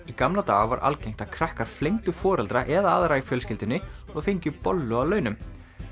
í gamla daga var algengt að krakkar foreldra eða aðra í fjölskyldunni og fengju bollu að launum